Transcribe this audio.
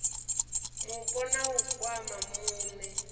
mupo na u kwama muṋe